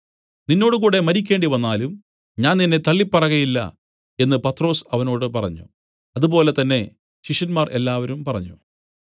നിന്നോട് കൂടെ മരിക്കേണ്ടിവന്നാലും ഞാൻ നിന്നെ തള്ളിപ്പറകയില്ല എന്നു പത്രൊസ് അവനോട് പറഞ്ഞു അതുപോലെ തന്നെ ശിഷ്യന്മാർ എല്ലാവരും പറഞ്ഞു